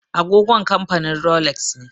Agogon kamfanin Rolex ne.